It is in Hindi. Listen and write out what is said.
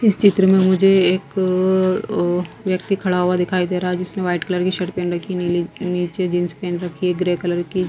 इस चित्र में मुझे एक अ व्यक्ति खड़ा हुआ दिखाई दे रहा है जिसने वाइट कलर की शर्ट पेहन रखी नीचे जींस पेहन रखी है ग्रे कलर की--